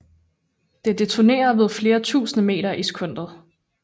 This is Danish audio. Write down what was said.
Det detonerer ved flere tusinde meter i sekundet